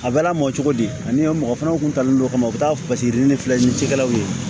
A bɛ lamɔ cogo di ani mɔgɔ fana tun talen don o kama u bɛ taa paseke ni filɛ ni cikɛlaw ye